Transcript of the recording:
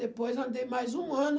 Depois andei mais um ano